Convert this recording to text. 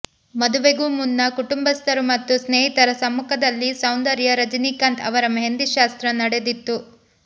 ಮದುವೆಗೂ ಮುನ್ನ ಕುಟುಂಬಸ್ಥರು ಮತ್ತು ಸ್ನೇಹಿತರ ಸಮ್ಮುಖದಲ್ಲಿ ಸೌಂದರ್ಯ ರಜನಿಕಾಂತ್ ಅವರ ಮೆಹಂದಿ ಶಾಸ್ತ್ರ ನಡೆದಿತ್ತು